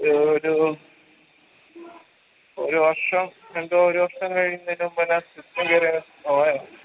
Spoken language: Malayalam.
ഏർ ഒരു ഒരു വർഷം രണ്ട് ഒരു വർഷം കയീന്നേന് മുമ്പെന്നെ system ചെറിയ slow ആയിരുന്നു